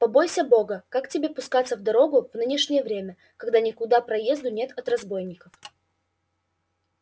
побойся бога как тебе пускаться в дорогу в нынешнее время когда никуда проезду нет от разбойников